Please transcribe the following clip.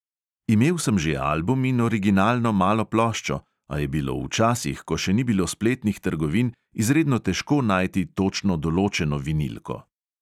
Imel sem že album in originalno malo ploščo, a je bilo v časih, ko še ni bilo spletnih trgovin, izredno težko najti točno določeno vinilko.